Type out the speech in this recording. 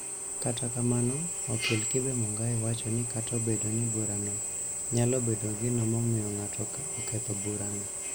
Kata kamano, okil Kibe Mungai wacho ni kata obedo ni bura no nyalo bedo gino momiyo ng'ato oketho burano,